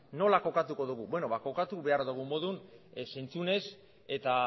nola kokatuko dugu beno ba kokatu behar dugun moduan zentzunez eta